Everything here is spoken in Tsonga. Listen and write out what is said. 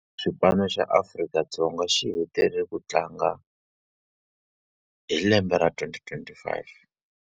Xipano xa Afrika-Dzonga xi hetelele ku tlanga hi lembe ra twenty twenty-five.